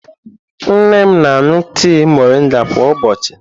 Nne m na-aṅụ tii moringa kwa ụbọchị.